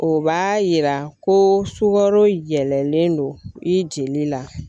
O b'a yira ko sukaro yɛlɛlen don i jeli la.